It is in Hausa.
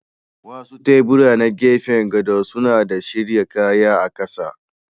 Wasu tebura na gefen gado suna da shirya kaya a ƙasa.